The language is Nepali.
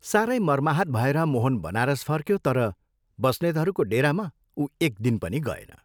सारै मर्माहत भएर मोहन बनारस फर्क्यो तर बस्नेतहरूको डेरामा उ एकदिन पनि गएन।